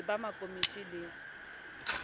le ba ma komonisi le